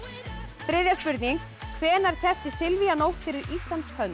þriðja spurning hvenær keppti Silvía Nótt fyrir Íslands hönd